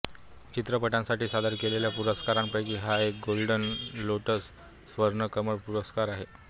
चित्रपटांसाठी सादर केलेल्या पुरस्कारांपैकी हा एक गोल्डन लोटलस स्वर्ण कमल पुरस्कार आहे